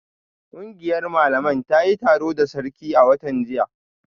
Kungiyar malaman ta yi taro da sarkin a watan jiya